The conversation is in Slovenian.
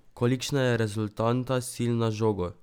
Kolikšna je rezultanta sil na žogo?